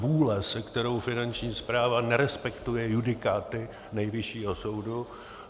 Zvůle, se kterou Finanční správa nerespektuje judikáty Nejvyššího soude.